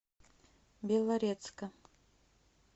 белорецка